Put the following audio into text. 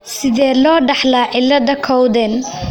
Sidee loo dhaxlaa cilada Cowden?